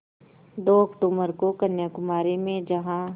दो अक्तूबर को कन्याकुमारी में जहाँ